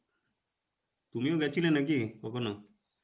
তুমিও গেছিলে নাকি কখনও?